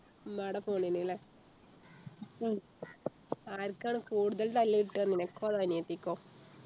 ഉമ്മാടെ phone നു അല്ലെ ആർക്കാണ് കൂടുതൽ തല്ലു കിട്ടുക നിനക്കോ അതോ അനിയത്തിക്കോ